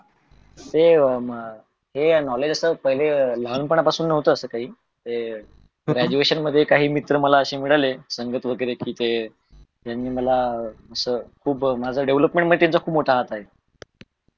हे अं हे अस knowledge अस लहानपणापासून नवत अस काही हे. graduation मध्ये काही मित्र अशे मिळाल कि सांगत वगेरे कि ते त्यांनि मला ते कि माझ्या अं development मध्ये त्यांचा खूप मोठा हात आहे.